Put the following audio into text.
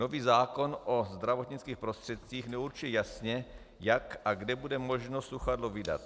Nový zákon o zdravotnických prostředcích neurčuje jasně, jak a kde bude možno sluchadlo vydat.